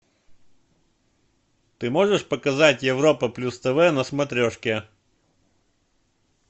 ты можешь показать европа плюс тв на смотрешке